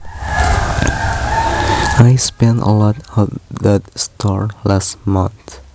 I spent a lot at that store last month